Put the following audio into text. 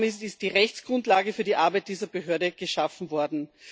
Damit ist die Rechtsgrundlage für die Arbeit dieser Behörde geschaffen worden.